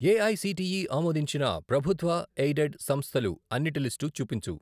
AICTE ఆమోదించిన ప్రభుత్వ aided సంస్థలు అన్నిటి లిస్టు చూపించు.